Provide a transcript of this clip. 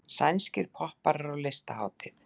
Spænskir popparar á listahátíð